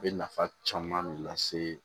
A bɛ nafa caman de lase